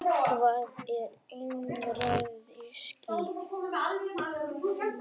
Hvað er einræðisríki?